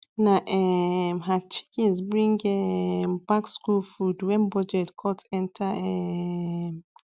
na um her chickens bring um back school food when budget cut enter um